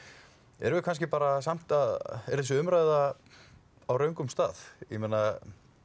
erum við kannski bara samt að er þessu umræða á röngum stað ég meina